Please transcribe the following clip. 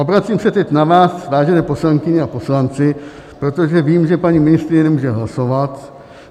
Obracím se teď na vás, vážené poslankyně a poslanci, protože vím, že paní ministryně nemůže hlasovat.